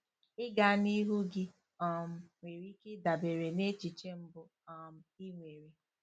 Ịga n'ihu gị um nwere ike ịdabere na echiche mbụ um ị nwere.